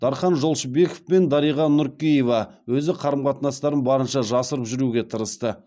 дархан жолшыбеков пен дариға нүркеева өзі қарым қатынастарын барынша жасырып жүруге тырысты